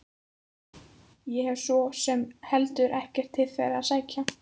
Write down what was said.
Ég hef svo sem heldur ekkert til þeirra að sækja.